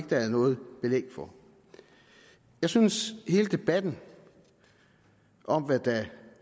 der er noget belæg for jeg synes hele debatten om hvad der